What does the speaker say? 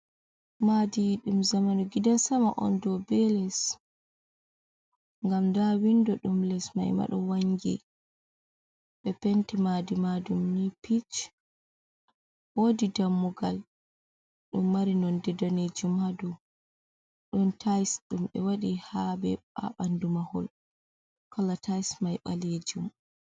Maadi ɗum zamanu gidansama on do be les. ngam nda windo ɗum les maima ɗo wangi. be penti madi majum ni pic, wodi dammugal ɗum mari nonde danejum hadow, ɗon tayis ɗum ɓe waɗi habe baɓandu mahol kala tayis mai ɓalejum.